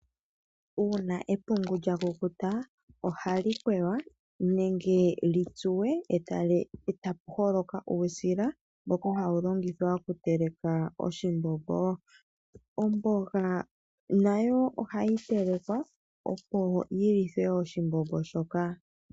Uuna epungu lya kukuta, ohali kwewa nenge li tsuwe etapu holoka uusila, mboka hawu longithwa okuteleka oshimbombo. Omboga nayo ohayi telekwa opo yi lithwe oshimbombo shoka.